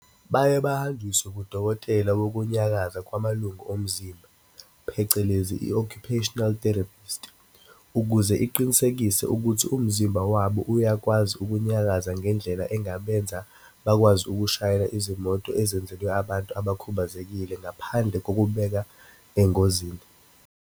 "Baye bahanjiswe kudokotela wokunyakaza kwamalungu omzimba, phecelezi i-occupational therapist, ukuze iqinisekise ukuthi umzimba wabo uyakwazi ukunyakaza ngendlela engabenza bakwazi ukushayela izimoto ezenzelwe abantu abakhubazekile ngaphandle kokubabeka engozini.